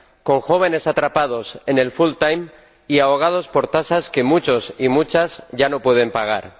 con jóvenes atrapados en el full time y ahogados por tasas que muchos y muchas ya no pueden pagar.